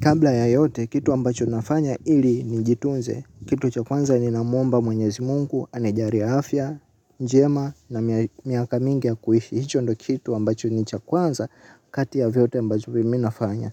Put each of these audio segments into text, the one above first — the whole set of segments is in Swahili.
Kabla ya yote, kitu ambacho nafanya ili nijitunze. Kitu cha kwanza ninamwomba mwenyezi mungu, anijalie afya, njema, na miaka mingi ya kuishi. Hicho ndo kitu ambacho ni cha kwanza, kati ya vyote ambacho mimi nafanya.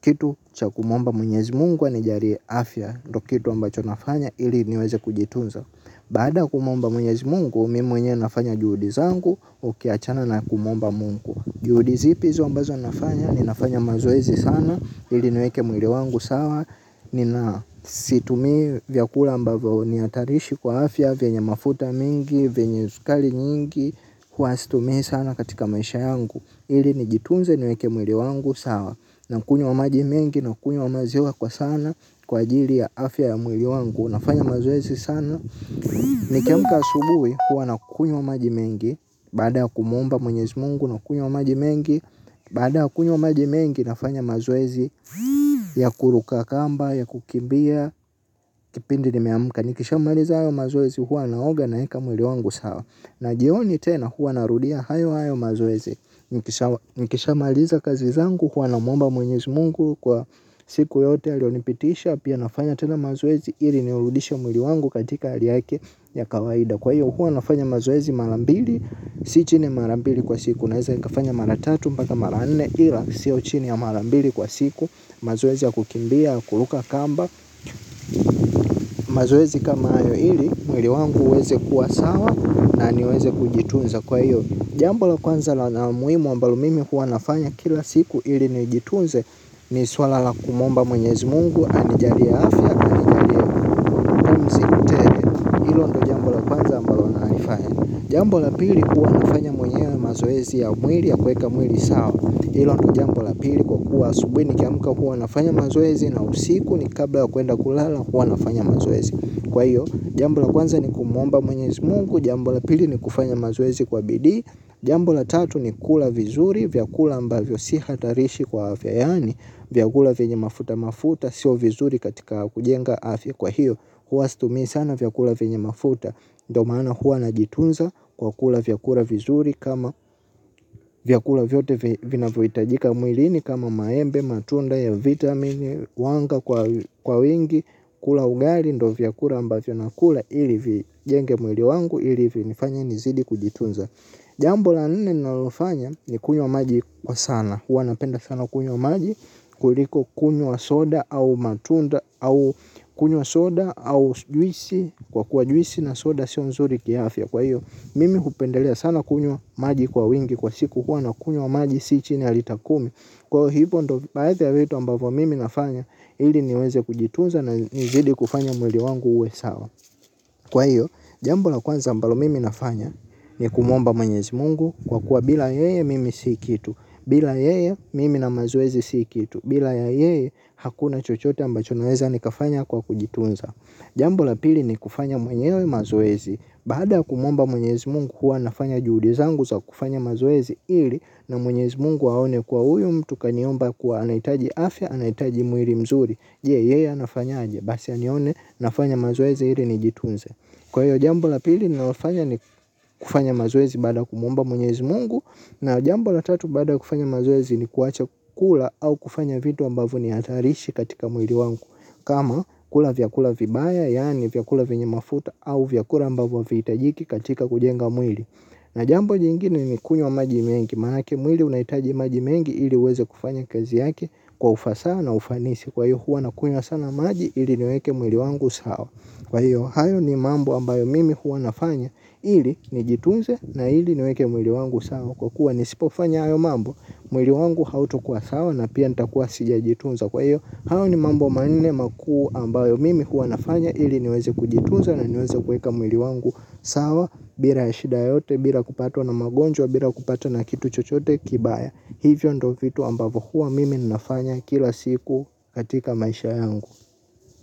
Kitu cha kumwomba mwenyezi mungu, anijalie afya. Kitu ambacho nafanya ili niweze kujitunza. Badaa ya kumwomba mwenyezi mungu, mimi mwenye nafanya juhudi zangu, ukiachana na kumwomba mungu. Jihudi zipi hizo ambazo nafanya? Ninafanya mazoezi sana, ili nweke mwili wangu sawa, nina situmii vyakula ambayo nihatarishi kwa afya, venye mafuta mingi, venye sukari nyingi, hua situmii sana katika maisha yangu, ili nijitunze niweke mwili wangu sawa, nakunywa wa maji mengi nakunywa maziwa kwa sana, kwa ajili ya afya ya mwili wangu, nafanya mazoezi sana. Nikiamka asubuhi huwa nakunywa maji mengi baada ya kumwomba mwenyezi mungu na kunywa maji mengi. Badaa ya kunywa maji mengi nafanya mazoezi ya kuruka kamba, ya kukimbia, kipindi nimeamuka. Nikisha maliza hayo mazoezi huwa naoga naeka mwili wangu sawa. Na jioni tena huwa narudia hayo hayo mazoezi. Nikisha maliza kazi zangu huwa namwomba mwenyezi mungu. Kwa siku yote alionipitisha pia nafanya tena mazoezi. Ili niurudisha mwili wangu katika hali yake ya kawaida. Kwa hiyo hua nafanya mazoezi mara mbili, si chini mara mbili kwa siku. Naeza nikafanya mara tatu mpaka mara mne ila sio chini ya mara mbili kwa siku. Mazoezi ya kukimbia, kuruka kamba. Mazoezi kama hayo ili mwili wangu uweze kuwa sawa na niweze kujitunza kwa hiyo. Jambo la kwanza la muhimu ambalo mimi hua nafanya kila siku. Ili nijitunze. Ni suala la kumwomba mwenyezi mungu anijalia afya na anijalie pumzi tele. Hilo ndo jambo la kwanza ninalolifanya. Jambo la pili hua nafanya mwenyewe mazoezi ya mwili ya kweka mwili sawa. Jambo la pili kwa kuwa asubuhi nikiamka huwa nafanya mazoezi. Na usiku ni kabla kwenda kulala hua nafanya mazoezi. Kwa hiyo, jambo la kwanza ni kumwomba mwenye mungu, jambo la pili ni kufanya mazoezi kwa bidii, jambo la tatu ni kula vizuri. Vyakula ambavyo si hatarishi kwa afya. Yaani vyakula venye mafuta mafuta. Sio vizuri katika kujenga afya. Kwa hiyo hua stumii sana vyakula venye mafuta. Ndo maana hua najitunza kwa kula vyakura vizuri kama vyakula vyote vinavohiitajika mwilini kama maembe matunda ya vitamin wanga kwa wingi. Kula ugali ndo vyakula ambavyo nakula ilivijenge mwili wangu ilivinifanya nizidi kujitunza. Jambo la nne nalofanya ni kunywa maji kwa sana. Huwa napenda sana kunywa maji. Kuliko kunywa soda au matunda au kunywa soda au juisi. Kwa kuwa juisi na soda siyo mzuri kiafya. Kwa hiyo mimi hupendelea sana kunywa maji kwa wingi. Kwa siku huwa na kunywa maji si chini ya lita kumi. Kwa hivyo ndo baadhi ya vitu ambavyo mimi nafanya. Iliniweze kujitunza na nizidi kufanya mwili wangu uwe sawa. Kwa hiyo jambo la kwanza ambalo mimi nafanya. Ni kumwomba mwenyezi mungu kwa kuwa bila yeye mimi si kitu. Bila yeye mimi na mazoezi si kitu. Bila ya yeye hakuna chochote ambacho naweza nikafanya kwa kujitunza. Jambo la pili nikufanya mwenyewe mazoezi. Baada ya kumwomba mwenyezi mungu hua nafanya juhudi zangu za kufanya mazoezi ili na mwenyezi mungu aone kuwa huyu mtu kaniomba kuwa anahitaji afya anahitaji mwili mzuri. Je? Yeye anafanyaje? Basi anione nafanya mazoezi ili nijitunze. Kwa hiyo jambo la pili ninalofanya ni kufanya mazoezi baada ya kumwomba mwenyezi mungu, na jambo la tatu baada ya kufanya mazoezi ni kuwacha kula au kufanya vitu ambavyo ni hatarishi katika mwili wangu. Kama kula vyakula vibaya yaani vyakula venye mafuta au vyakula ambavyo avihitajiki katika kujenga mwili. Na jambo jingine ni kunywa maji mengi maanake mwili unaitaji maji mengi ili uweze kufanya kazi yake kwa ufasaa na ufanisi kwa hiyo hua na kunywa sana maji ili niweke mwili wangu sawa. Kwa hiyo, hayo ni mambo ambayo mimi huwa nafanya ili nijitunze na ili niweke mwili wangu sawa kwa kuwa nisipofanya hayo mambo, mwili wangu hautokuwa sawa na pia nitakuwa sijajitunza. Kwa hiyo, hayo ni mambo manne makuu ambayo mimi huwa nafanya iliniweze kujitunza na niweze kueka mwili wangu sawa, bila shida yote, bila kupatwa na magonjwa, bila kupatwa na kitu chochote kibaya. Hivyo ndo vitu ambayo huwa mimi ninafanya kila siku katika maisha yangu.